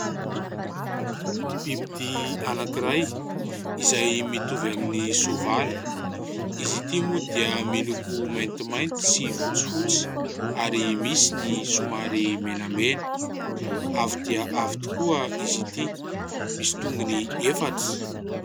Bibidia anankiray izay mitovy amin'ny soavaly. Izy ity moa dia miloko: maintimainty, sy fotsifotsy, ary misy ny somary menamena. Avo dia avo tokoa izy ity, misy tongony efatra.